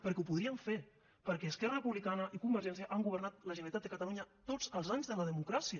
perquè ho podrien fer perquè esquerra republicana i convergència han governat la generalitat de catalunya tots els anys de la democràcia